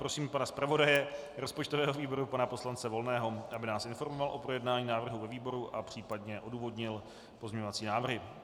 Prosím pana zpravodaje rozpočtového výboru, pana poslance Volného, aby nás informoval o projednání návrhu ve výboru a případně odůvodnil pozměňovací návrhy.